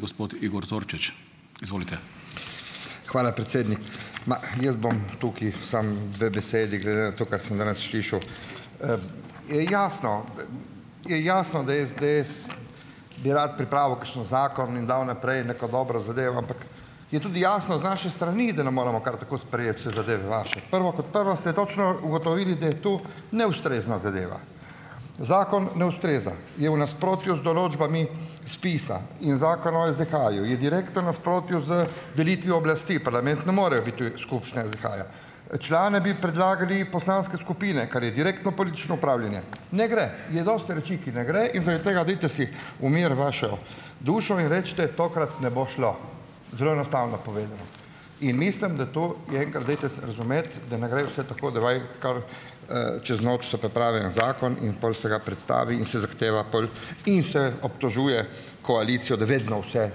Gospod Igor Zorčič. Izvolite. Hvala, predsednik. Ma, jaz bom tukaj samo dve besedi, glede na to, kar sem danes slišal. je jasno, je jasno, da SDS bi rad pripravil kakšen zakon in dal naprej neko dobro zadevo, ampak je tudi jasno z naše strani, da ne moramo kar tako sprejeti vse zadeve vaše . Prvo kot prvo, ste točno ugotovili, da tu neustrezna zadeva. Zakon ne ustreza. Je v nasprotju z določbami SPIZ-a in Zakona o SDH-ju, je direktnem nasprotju z delitvijo oblasti. Parlament ne more biti skupščina SDH-ja . člane bi predlagale poslanske skupine, kar je direktno politično upravljanje. Ne gre. Je dosti reči, ki ne gre, in zaradi tega dajte si umiriti vašo dušo in recite: "Tokrat ne bo šlo ." Zelo enostavno povedano. In mislim, da to je, kar dajte se razumeti, da ne gre vse tako, da raje kar, čez noč so priprave en zakon in pol se ga predstavi in se zahteva pol in se obtožuje koalicijo, da vedno vse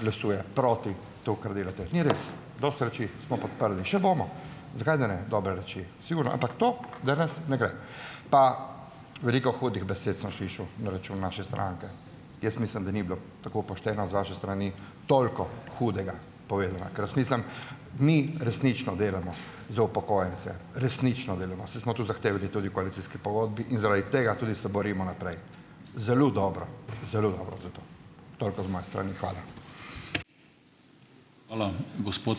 glasuje proti temu, kar delate. Ni res . Dosti reči smo podprli. Še bomo. Zakaj, da ne. Dobre reči. Sigurno. Ampak to danes ne gre. Pa veliko hudih besed sem slišal na račun naše stranke. Jaz mislim, da ni bilo tako pošteno z vaše strani, toliko hudega povedano, ker jaz mislim, mi resnično delamo za upokojence. Resnično delamo. Saj smo tudi zahtevali tudi v koalicijski pogodbi in zaradi tega tudi se borimo naprej. Zelo dobro. Zelo dobro za to. Toliko z moje strani. Hvala. Hvala, gospod ...